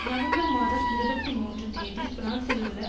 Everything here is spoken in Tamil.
நவம்பர் மாதம் இருபத்தி மூன்று தேதி பிரான்சிலுள்ள